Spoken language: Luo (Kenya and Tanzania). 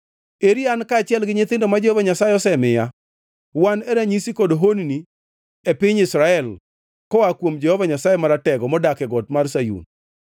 Eri an kaachiel gi nyithindo ma Jehova Nyasaye osemiya. Wan e ranyisi kod honni e piny Israel koa kuom Jehova Nyasaye Maratego modak e got mar Sayun.